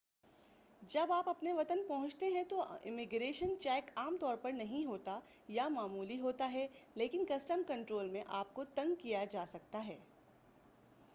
جب آپ اپنے وطن پہنچتے ہیں تو امیگریشن چیک عام طور پر نہیں ہوتا یا معمولی ہوتا ہے لیکن کسٹم کنٹرول میں آپ کو تنگ کیا جا سکتا ہے